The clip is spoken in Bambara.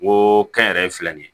N ko kɛnyɛrɛye filɛ nin ye